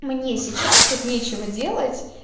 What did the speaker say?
мне сейчас вот нечего делать